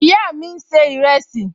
Ìyá mi n ṣe ìrẹsì